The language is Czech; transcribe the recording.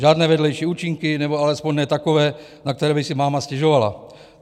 Žádné vedlejší účinky nebo alespoň ne takové, na které by si máma stěžovala.